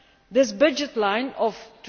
This budget line of EUR